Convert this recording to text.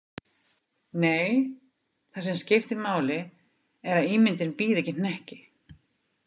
Nei, það sem skiptir máli er að ímyndin bíði ekki hnekki.